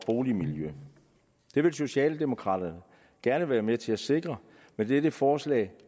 boligmiljø det vil socialdemokraterne gerne være med til at sikre med dette forslag